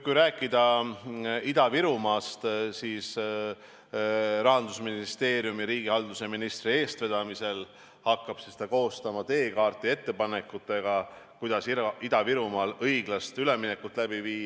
Kui rääkida Ida-Virumaast, siis Rahandusministeeriumi ja riigihalduse ministri eestvedamisel hakatakse koostama teekaarti ettepanekutega, kuidas Ida-Virumaal õiglast üleminekut läbi viia.